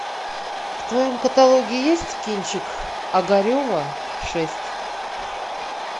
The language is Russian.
в твоем каталоге есть кинчик огарева шесть